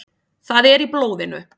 Það er í blóðinu.